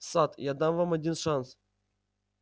сатт я дам вам один шанс